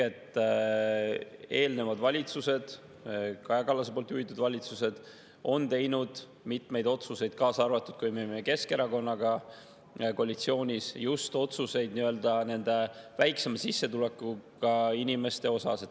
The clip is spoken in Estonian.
Eelnevad valitsused, Kaja Kallase juhitud valitsused on teinud mitmeid otsuseid, kaasa arvatud, kui me olime Keskerakonnaga koalitsioonis, just otsused, mis väiksema sissetulekuga inimesi.